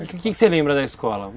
O que que você lembra da escola?